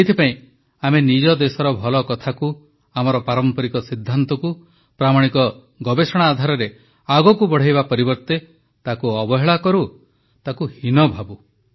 ସେଥିପାଇଁ ଆମେ ନିଜ ଦେଶର ଭଲ କଥାକୁ ଆମର ପାରମ୍ପରିକ ସିଦ୍ଧାନ୍ତକୁ ପ୍ରାମାଣିକ ଗବେଷଣା ଆଧାରରେ ଆଗକୁ ବଢ଼ାଇବା ପରିବର୍ତ୍ତେ ତାକୁ ଅବହେଳା କରୁ ତାକୁ ହୀନ ଭାବୁ